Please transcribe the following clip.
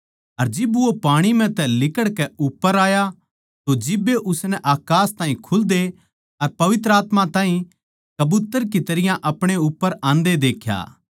अर जिब वो पाणी म्ह तै लिकड़कै उप्पर आया तो जिब्बे उसनै अकास ताहीं खुल्दे अर पवित्र आत्मा ताहीं कबूतर की तरियां अपणे उप्पर आंदे देख्या